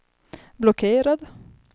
blockerad